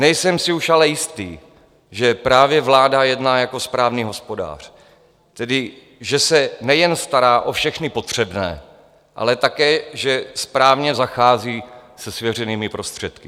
Nejsem si už ale jistý, že právě vláda jedná jako správný hospodář, tedy že se nejen stará o všechny potřebné, ale také že správně zachází se svěřenými prostředky.